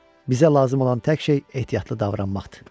Bizə lazım olan tək şey ehtiyatlı davranmaqdır.